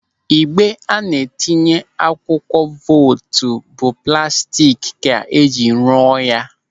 Ịgbe a na-etinye akwụkwọ vootu bụ plastik ka ejiri rụọ ya.